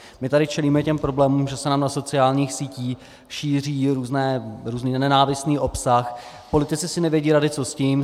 My tady čelíme těm problémům, že se nám na sociálních sítích šíří různý nenávistný obsah, politici si nevědí rady, co s tím.